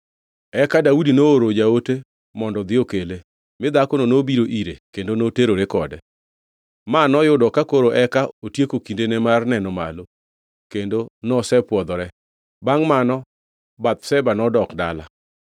Eka Daudi nooro jaote mondo odhi okele, mi dhakono nobiro ire kendo noterore kode. Ma noyudo ka koro eka otieko kindene mar neno malo kendo nosepwodhore. Bangʼ mano Bathsheba nodok dala.